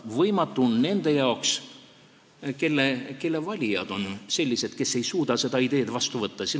Võimatu nende jaoks, kelle valijad on sellised, et nad ei suuda seda ideed vastu võtta.